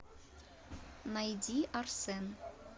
найди арсен